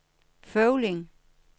Føvling